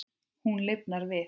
Hún lifnar við.